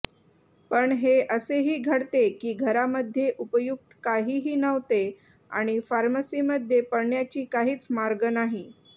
पण हे असेही घडते की घरामध्ये उपयुक्त काहीही नव्हते आणि फार्मसीमध्ये पळण्याची काहीच मार्ग नाही